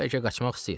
Bəlkə qaçmaq istəyir.